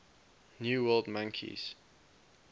new world monkeys